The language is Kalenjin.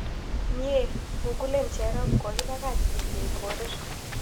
Myee! googlen cherop kogiipagach d. j. korir